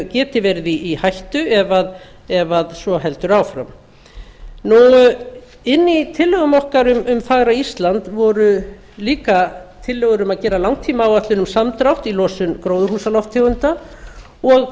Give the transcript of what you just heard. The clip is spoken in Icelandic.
geti verið í hættu ef svo heldur áfram inni í tillögum okkar um fagra ísland voru líka tillögur um að gera langtímaáætlun um samdrátt í losun gróðurhúsalofttegunda og